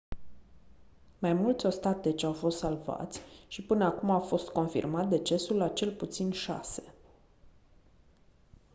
mai mulți ostateci au fost salvați și până acum a fost confirmat decesul a cel puțin șase